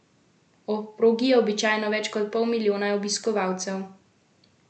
Ob progi je običajno več kot pol milijona obiskovalcev.